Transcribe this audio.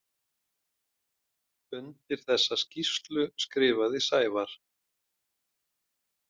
Undir þessa skýrslu skrifaði Sævar.